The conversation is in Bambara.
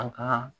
An ka